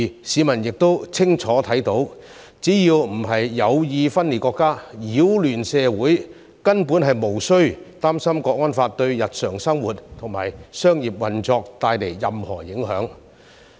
市民亦清楚看到，只要不是有意分裂國家、擾亂社會，根本無須擔心《香港國安法》會對日常生活和商業運作帶來任何影響。